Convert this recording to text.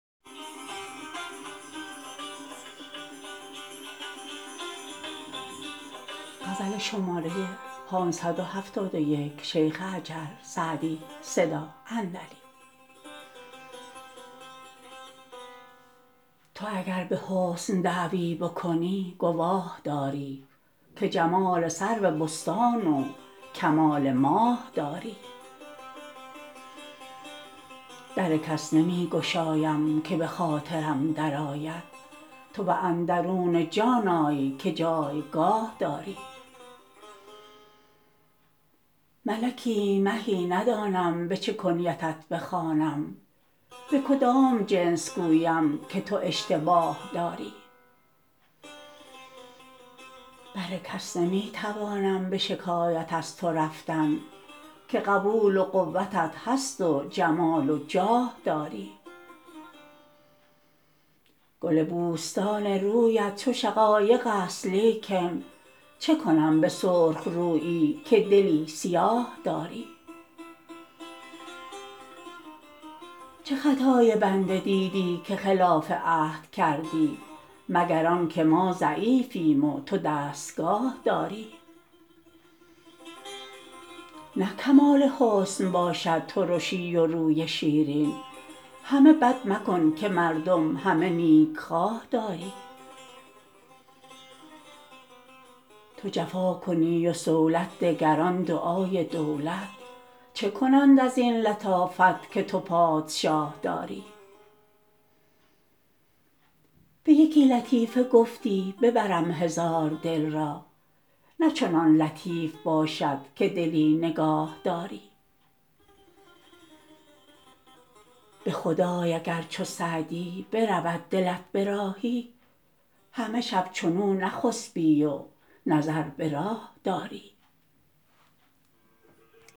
تو اگر به حسن دعوی بکنی گواه داری که جمال سرو بستان و کمال ماه داری در کس نمی گشایم که به خاطرم درآید تو به اندرون جان آی که جایگاه داری ملکی مهی ندانم به چه کنیتت بخوانم به کدام جنس گویم که تو اشتباه داری بر کس نمی توانم به شکایت از تو رفتن که قبول و قوتت هست و جمال و جاه داری گل بوستان رویت چو شقایق است لیکن چه کنم به سرخ رویی که دلی سیاه داری چه خطای بنده دیدی که خلاف عهد کردی مگر آن که ما ضعیفیم و تو دستگاه داری نه کمال حسن باشد ترشی و روی شیرین همه بد مکن که مردم همه نیکخواه داری تو جفا کنی و صولت دگران دعای دولت چه کنند از این لطافت که تو پادشاه داری به یکی لطیفه گفتی ببرم هزار دل را نه چنان لطیف باشد که دلی نگاه داری به خدای اگر چو سعدی برود دلت به راهی همه شب چنو نخسبی و نظر به راه داری